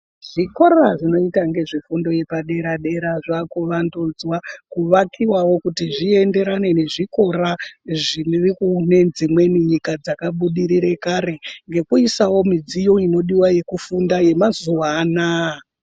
Zvikora zvinoita ngezvefundo yepadera dera zvava kuvandudzwa kuvakiwawo kuti zvienderane nezvikora zviri kunedzimweni nyika dzakabudirira kare ngekuisawo midziyo yekufunda yemazuwa anaya.